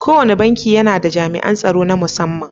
Kowane banki yAna da jami'an tsaro na mussaman